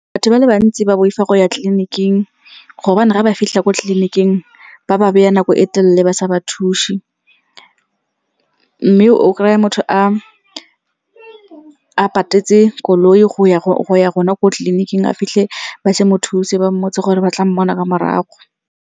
Batho ba le bantsi ba boifa go ya tleliniking gobane ga ba fitlha ko tleliniking ba ba beya nako e telele ba sa ba thusi. Mme o kry-a motho a patetse koloi go ya gona ko tleliniking a fitlhe ba se mothusi, ba mmotsa gore ba tla mmona ka morago.